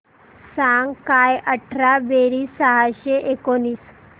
सांग काय अठरा बेरीज सहाशे एकोणीस